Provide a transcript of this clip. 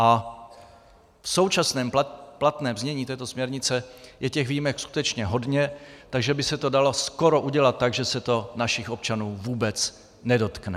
A v současném platném znění této směrnice je těch výjimek skutečně hodně, takže by se to dalo skoro udělat tak, že se to našich občanů vůbec nedotkne.